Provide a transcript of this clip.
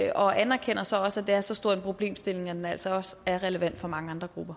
og anerkender så også at er så stor en problemstilling at den altså også er relevant for mange andre grupper